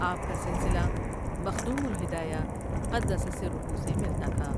آپ کا سلسلہ مخدوم الہدایہ قدس سٗرہ سے ملتا تھا ۔